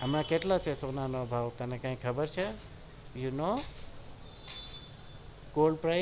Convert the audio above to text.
આમાં કેટલો છે સોના નો ભાવ કેટલો છે ખબર છે કેટલો છે